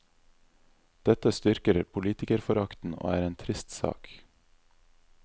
Dette styrker politikerforakten, og er en trist sak.